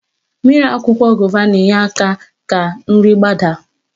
Mmiri akwụkwọ gova na-enye aka ka nri gbadaa.